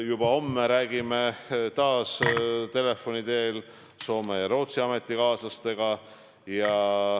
Juba homme räägime taas telefoni teel Soome ja Rootsi ametikaaslastega.